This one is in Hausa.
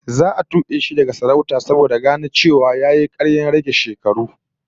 Za a tube shi daga sarauta saboda gano cewa yayi karyar rage shekaru